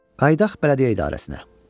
Qayıdaq Bələdiyyə İdarəsinə.